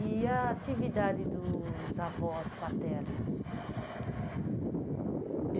E a atividade dos avós paternos?